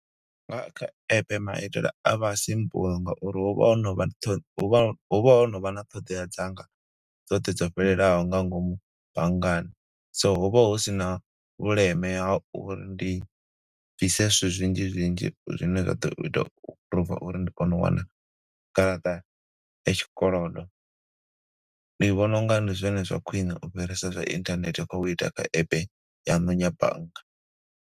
Nga kha epe maitela a vha simple nga uri hu vha ho novha, huvha, huvha ho no vha na ṱhoḓea dzanga dzoṱhe dzo fhelelaho nga ngomu banngani. So hu vha hu sina vhuleme ha uri ndi ḓise zwithu zwinzhi zwinzhi zwine zwa ḓo ita u aphuruva uri ndi kone u wana garaṱa ya tshikolodo. Ndi vhona unga ndi zwone zwa khwine ufhirisa zwa inthanethe, khou ita nga app yanu ya bannga.